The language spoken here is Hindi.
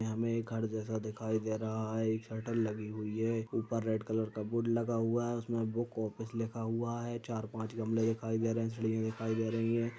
यह हमें एक घर जैसा दिखाई दे रहा है एक शटर लगी हुई है ऊपर रेड कलर का बोर्ड लगा हुआ है उसमे बुक ऑफिस लिखा हुआ है चार पांच गमलें दिखाई दे रहे हैं सीढियाँ दिखाई दे रही हैं।